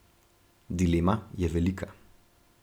Dilema je velika.